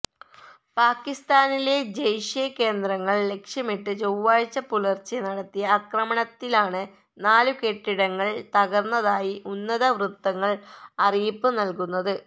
പാകിസ്താനിലെ ജെയ്ഷെ കേന്ദ്രങ്ങള് ലക്ഷ്യമിട്ട് ചൊവാഴ്ച പുലര്ച്ചെ നടത്തിയ ആക്രമണത്തിലാണ് നാലു കെട്ടിടങ്ങള് തകര്ന്നതായി ഉന്നതവൃത്തങ്ങള് അറിയിപ്പ് നല്കുന്നത്